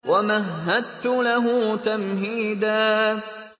وَمَهَّدتُّ لَهُ تَمْهِيدًا